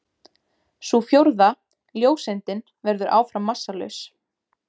Sú fjórða, ljóseindin, verður áfram massalaus.